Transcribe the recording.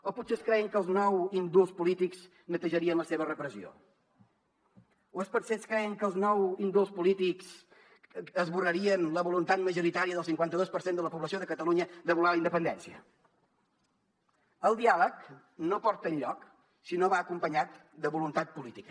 o potser es creien que els nou indults polítics netejarien la seva repressió o potser es creien que els nou indults polítics esborrarien la voluntat majoritària del cinquanta dos per cent de la població de catalunya de voler la independència el diàleg no porta enlloc si no va acompanyat de voluntat política